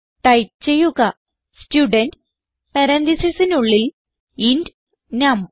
type ചെയ്യുക student പരാൻതീസിസിനുള്ളിൽ int നം